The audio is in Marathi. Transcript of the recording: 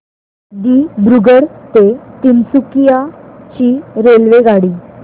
दिब्रुगढ ते तिनसुकिया ची रेल्वेगाडी